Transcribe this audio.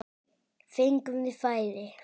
Fengum við færi?